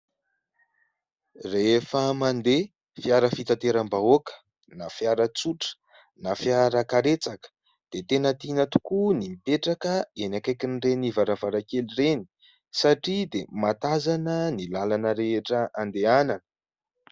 Rehefa mandeha fiara fitateram-bahoaka na fiara tsotra na fiarakaretsaka dia tena tiana tokoa ny mipetraka eny akaikin'ireny varavarankely ireny satria dia mahatazana ny lalana rehetra andehanana.